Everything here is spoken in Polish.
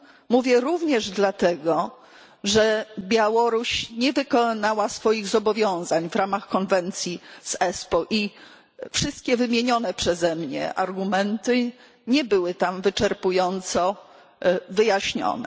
Mówię również dlatego, że Białoruś nie wykonała swoich zobowiązań w ramach konwencji z Espoo i wszystkie wymienione przeze mnie argumenty nie były tam wyczerpująco wyjaśnione.